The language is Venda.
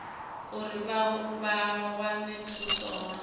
uri vha wane thuso hone